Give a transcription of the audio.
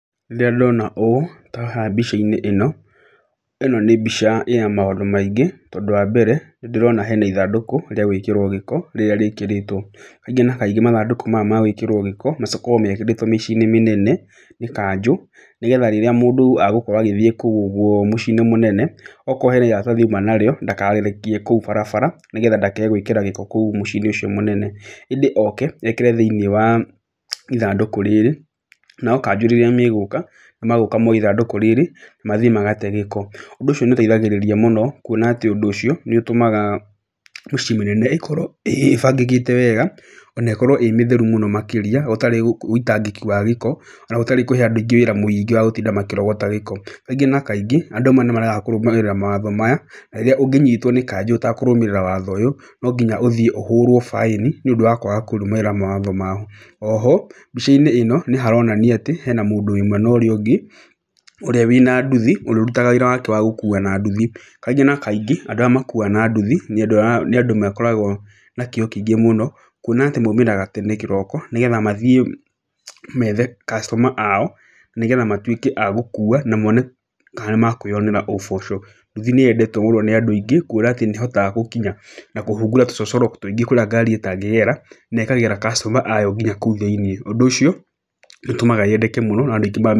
Rĩrĩa ndona ũũ ta haha mbica-inĩ ĩno, ĩno nĩ mbica ĩna maũndũ maingĩ, tondũ wa mbere nĩ ndĩrona hena ithandũkũ rĩa gwĩkĩrwo gĩko rĩrĩa rĩkĩrĩtwo. Kaingĩ na kaingĩ mathandũkũ maya ma gwĩkĩrwo gĩko makoragwo mekĩrĩtwo mĩciĩ-inĩ mĩnene, nĩ kanjũ, nĩgetha rĩrĩa mũndũ agũkorwo agĩthiĩ kũu ũguo mũciĩ-inĩ mũnene, okorwo hena iratathi auma narĩo, ndakarĩrekie kou barabara nĩgetha ndakae gwĩkĩra gĩko kou mũciĩ-inĩ ũcio mũnene ĩndĩ oke, ekĩre thĩ-inĩ wa ithandũkũ rĩrĩ, nao kanjũ rĩrĩa megũka, magũka moe ithandũkũ rĩrĩ, mathiĩ magate gĩko, ũndũ ũcio nĩ ĩteithagĩrĩria mũno kuona atĩ, ũndũ ũcio nĩ ũtũmaga mĩciĩ mĩnene ĩkorwo ĩbangĩkĩte wega, o na ĩkorwo ĩ mĩtheru mũno makĩria ĩtarĩ ũitangĩki wa gĩko, na gũtarĩ kũhe andũ wĩra mũingĩ wa gũkorwo makĩrogota gĩko, Kaingĩ na kaingĩ, andũ amwe nĩ maregaga kũrũmĩrĩra mawatho maya na rĩrĩa ũngĩnyitwo nĩ kanjũ ũtakũrũmĩrĩra watho ũyũ, nonginya ũthiĩ ũhũrwo baĩni nĩ ũndũ wa kwaga kũrũmĩrĩra mawatho wao, O ho mbica-inĩ ĩno nĩ haronania atĩ hena mũndũ wĩ mwena ũrĩa ũngĩ, ũrĩa wĩna nduthi, ũrĩa ũrutaga wĩra wake wa gũkua na nduthi. Kaingĩ na kaingĩ, andũ arĩa makuaga na nduthi nĩ andũ makoragwo na kĩo kĩingĩ mũno, kuona atĩ maumĩraga tene kĩroko nĩgetha mathiĩ methe customer ao nĩgetha matuĩke a gũkua, na mone kana nĩ makũĩyonera ũboco. Nduthi níĩyendetwo mũno nĩ andũ aingĩ kuona atĩ nĩ ĩhotaga gũkinya na kũhungura tũcocoro tũingĩ kũrĩa ngari ĩtangĩgera, na ĩkagĩra customer ayo nginya kũu thĩiniĩ, ũndũ ũcio nĩ ũtũmaga yendeke mũno.